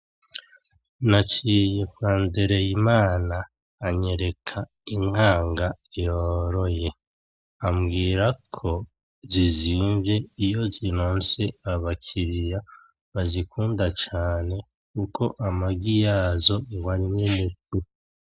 Naciye kwa Ndereyimana anyereka Inkanga yoroye. Ambwira ko zizimvye iyo zironse abakiliya bazikunda cane kuko amagi yazo ngo arimwo umuti